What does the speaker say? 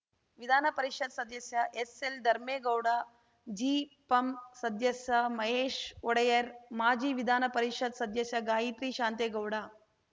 ವಿಧಾನ ಪರಿಷತ್ ಸದಸ್ಯ ಎಸ್‌ಎಲ್‌ ಧರ್ಮೇಗೌಡ ಜಿಪಂ ಸದಸ್ಯ ಮಹೇಶ್‌ ಒಡೆಯರ್‌ ಮಾಜಿ ವಿಧಾನ ಪರಿಷತ್ ಸದಸ್ಯೆ ಗಾಯತ್ರಿ ಶಾಂತೇಗೌಡ